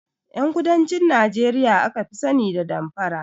Ƴan kudancin Nijeriya aka fi sani da damfara